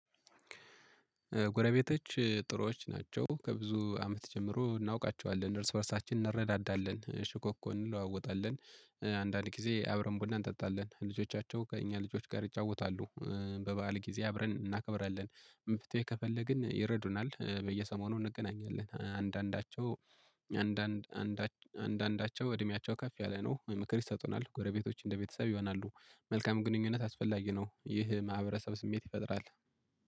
ጎረቤቶች ጥሩዎች ናቸው ከብዙ አመት ጀምሮ እናውቃቸዋለን እርስ በእርሳችን እንረዳዳለን ሽኮኮ እንለዋወጣለን አንዳንድ ጊዜ አብረን ቡና እንጠጣለን ልጆቻቸው ከእኛ ልጆች ጋር ይጫወታሉ። በበዓል ጊዜ አብረን እናከብራለን። መፍትሄ ከፈለግን ይረዱናል በየሰሞኑ እንገናኛለን አንዳንዳቸው አንዳንዳቸው አንዳንዳቸው እድሜያቸው ከፍ ያለ ነው ምክር ይሰጡናል ጎረቤቶች እንደቤተሰብ ይሆናሉ። መልካም ግንኙነት አስፈላጊ ነው ይህ ማህበረሰብ ስሜት ይፈጥራል።